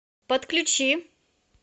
подключи